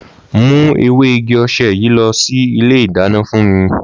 Mù èwé ìgí òse yìí lò ìlé ìdàná fùn mi